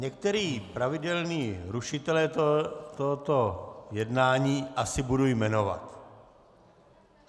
Některé pravidelné rušitele tohoto jednání asi budu jmenovat.